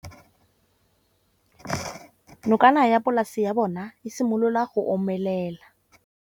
Nokana ya polase ya bona, e simolola go omelela.